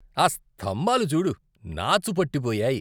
ఆ స్తంభాలు చూడు. నాచు పట్టిపోయాయి.